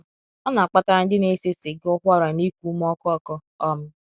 Ọ na -akpatara ndi na ese siga ụkwara na iku ume ọkụ ọku um.